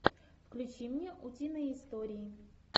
включи мне утиные истории